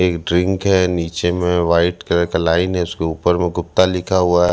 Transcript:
एक ड्रिंक है नीचे में व्हाइट कलर का लाइन है उसके ऊपर वो गुप्ता लिखा हुआ--